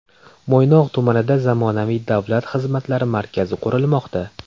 Mo‘ynoq tumanida zamonaviy Davlat xizmatlari markazi qurilmoqda .